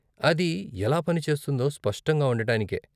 అది ఎలా పని చేస్తుందో స్పష్టంగా ఉండటానికే.